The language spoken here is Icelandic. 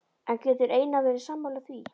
En getur Einar verið sammála því?